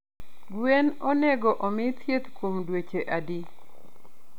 Gwen onego omi thieth kuom dweche adi?